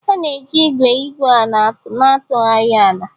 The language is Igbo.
A na-eji igwe igwu ala na-atụgharị ala.